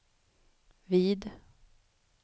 vid